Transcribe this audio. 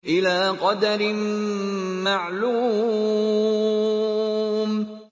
إِلَىٰ قَدَرٍ مَّعْلُومٍ